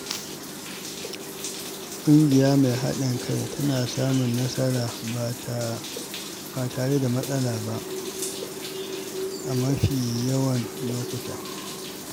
Ƙungiya mai haɗin kai tana samun nasara ba tare da matsala ba, a mafi yawan lokuta.